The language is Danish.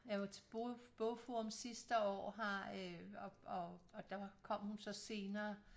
Jeg var til bogforum sidste år og og der kom hun så senere